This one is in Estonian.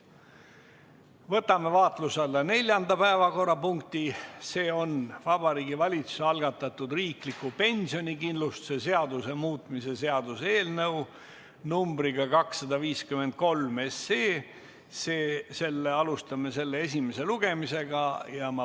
Võtame vaatluse alla neljanda päevakorrapunkti, see on Vabariigi Valitsuse algatatud riikliku pensionikindlustuse seaduse muutmise seaduse eelnõu numbriga 253, ja alustame selle esimest lugemist.